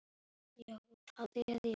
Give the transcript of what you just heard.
Eða sú.